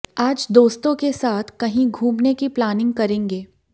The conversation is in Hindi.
आज दोस्तों के साथ कहीं घूमने की प्लानिंग करेंगे